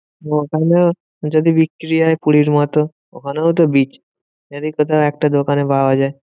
ওখানেও যদি বিক্রি হয় পুরীর মতো, ওখানেও তো beach. যদি কোথাও একটা দোকানে পাওয়া যায়।